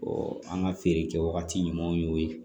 an ka feere kɛ wagati ɲumanw y'o ye